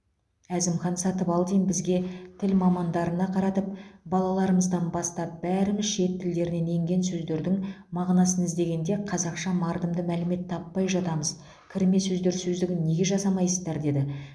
әзімхан сатыбалдин бізге тіл мамандарына қаратып балаларымыздан бастап бәріміз шет тілдерінен енген сөздердің мағынасын іздегенде қазақша мардымды мәлімет таппай жатамыз кірме сөздер сөздігін неге жасамайсыздар деді